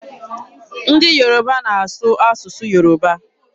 Ndị Yoruba na-asụ asụsụ Yoruba.